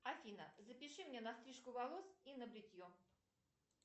афина запиши меня на стрижку волос и на бритье